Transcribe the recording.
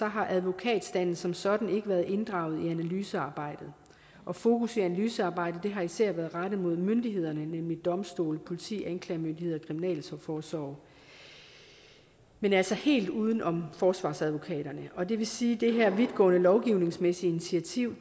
har advokatstanden som sådan ikke været inddraget i analysearbejdet og fokus i analysearbejdet har især været rettet mod myndighederne nemlig domstol politi anklagemyndighed og kriminalforsorg men altså helt uden om forsvarsadvokaterne og det vil sige at det her vidtgående lovgivningsmæssige initiativ